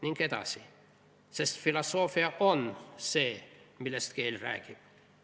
" Ning edasi: "Sest filosoofia on see, millest keel räägib.